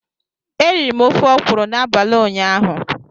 Eriri m ofe okwụrụ n'abalị ụnyaahụ.